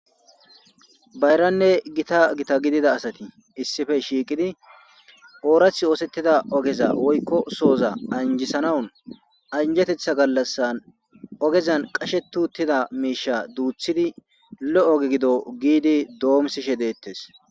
Bayranne gita gita gidida asati issippe shiiqidi oorathi oosetida ogeza woykko sohoza anjisanawun anjeteththa gallasan ogezan qasheti uttida miisha duuthidi lo'o oge gido giidi doomisishe deetees.